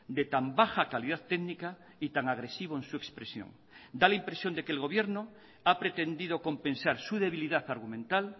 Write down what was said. de tan baja calidad técnica y tan agresivo en su expresión da la impresión de que el gobierno ha pretendido compensar su debilidad argumental